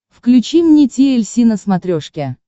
включи мне ти эль си на смотрешке